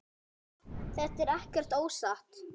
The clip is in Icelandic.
Það er ekkert að óttast.